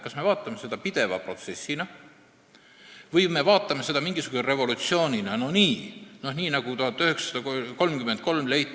Kas me vaatame seda pideva protsessina või me vaatame seda mingisuguse revolutsioonina, nii nagu 1933. aastal?